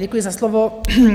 Děkuji za slovo.